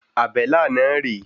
Àbélà náà rè é.